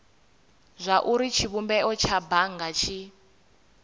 zwauri tshivhumbeo tsha bannga tshi